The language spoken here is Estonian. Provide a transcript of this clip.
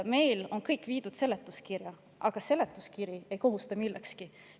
Meil on kõik viidud seletuskirja, aga seletuskiri ei kohusta millekski.